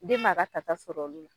Den b'a ka ta ta sɔr'olu.